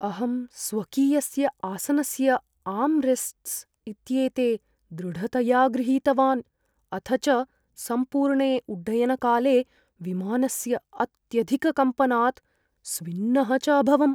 अहं स्वकीयस्य आसनस्य आर्म् रेस्ट्स् इत्येते दृढतया गृहीतवान् अथ च सम्पूर्णे उड्डयनकाले विमानस्य अत्यधिककम्पनात् स्विन्नः च अभवम्।